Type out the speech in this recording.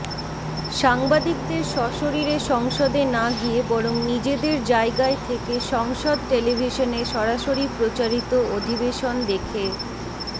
সাংবাদিকদের সশরীরে সংসদে না গিয়ে বরং নিজেদের জায়গায় থেকে সংসদ টেলিভিশনে সরাসরি প্রচারিত অধিবেশন দেখে